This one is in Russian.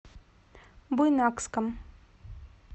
буйнакском